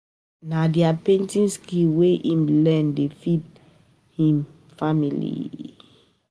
Na di painting skill wey im learn dey feed um him and im family.